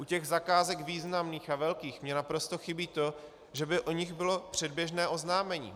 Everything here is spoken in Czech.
U těch zakázek významných a velkých mi naprosto chybí to, že by o nich bylo předběžné oznámení.